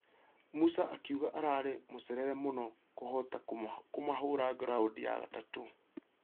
Musa akĩuga Ararĩ mũcerere mũno kũhota kũmũhũra raundi ya gatatũ ......